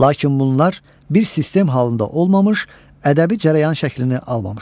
Lakin bunlar bir sistem halında olmamış, ədəbi cərəyan şəklini almamışdır.